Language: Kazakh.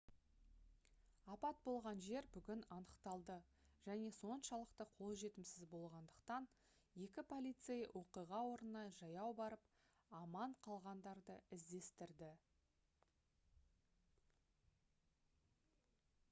апат болған жер бүгін анықталды және соншалықты қолжетімсіз болғандықтан екі полицей оқиға орнына жаяу барып аман қалғандарды іздестірді